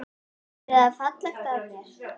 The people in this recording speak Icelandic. Væri það fallegt af mér?